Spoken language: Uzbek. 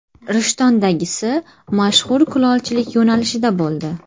Rishtondagisi mashhur kulolchilik yo‘nalishida bo‘ldi.